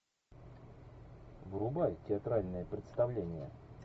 врубай театральное представление